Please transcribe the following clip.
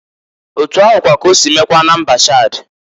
Otu ahụkwa k' osi mekwaa na mba Chad.